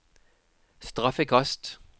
straffekast